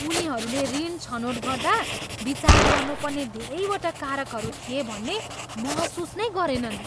उनीहरूले ऋण छनोट गर्दा विचार गर्नुपर्ने धेरैवटा कारकहरू थिए भन्ने महसुस नै गरेनन्!